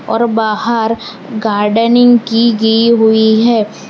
और बाहर गार्डनिंग की गे हुई है।